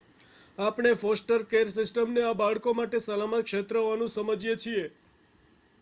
આપણે foster care સિસ્ટમને આ બાળકો માટે સલામત ક્ષેત્ર હોવાનું સમજીએ છીએ